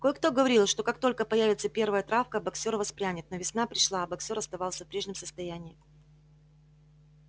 кое-кто говорил что как только появится первая травка боксёр воспрянет но весна пришла а боксёр оставался в прежнем состоянии